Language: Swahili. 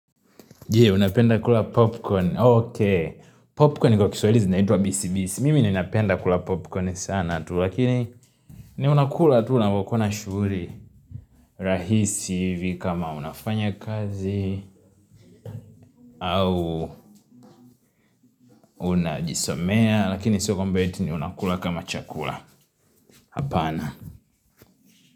Je, unapenda kula popcorn? Popkoni kwa kiswahili zinaitwa bisibisi. Mimi ninapenda kula popkoni sana tu lakini mi huwa nakula napokuwa na shuguri, rahisi ivi kama unafanya kazi, au unajisomea, lakini sio mambo eti ninakula kama chakula. Hapana.